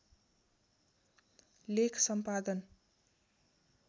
लेख सम्पादन